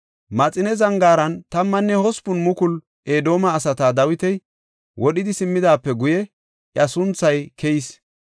Maxine zangaaran tammanne hospun mukulu Edoome asata Dawiti wodhidi simmidaape guye iya sunthay keyis.